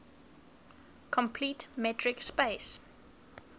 complete metric space